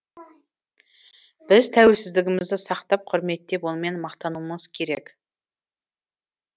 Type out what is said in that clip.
біз тәуелсіздігімізді сақтап құрметтеп онымен мақтануымыз керек